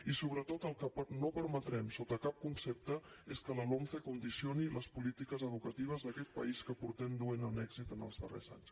i sobretot el que no permetrem sota cap concepte és que la lomce condicioni les polítiques educatives d’aquest país que portem amb èxit en els darrers anys